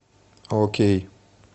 окей